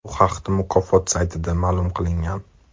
Bu haqda mukofot saytida ma’lum qilingan .